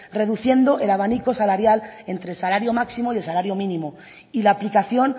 reduciendo el abanico salarial entre el salario máximo y el salario mínimo y la aplicación